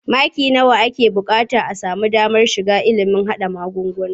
Maki nawa ake buƙata a sami damar karanta ilimin haɗa magunguna?